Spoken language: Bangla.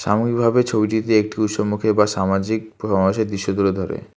এমনভাবে ছবিটিতে একটি উৎসবমুখী বা সামাজিক সমাজের দৃশ্য তুলে ধরে।